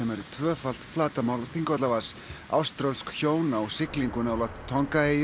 tvöfalt flatarmál Þingvallavatns áströlsk hjón á siglingu nálægt Tonga eyju